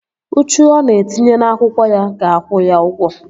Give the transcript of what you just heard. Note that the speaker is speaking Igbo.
Uchu ọ na-etinye n'akwụkwọ ya ga-akwụ ya ụgwọ